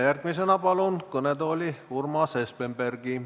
Järgmisena palun kõnetooli Urmas Espenbergi.